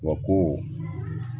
Wa ko